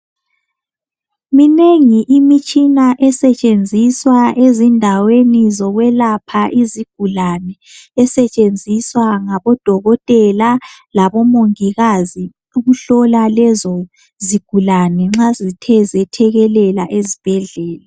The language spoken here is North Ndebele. Minengi imitshina esetshenziswa ezindaweni zokwelapha izigulane esetshenziswa ngabodokotela labomongikazi ukuhlola lezo zigulane nxa zithe zethekelela ezibhedlela.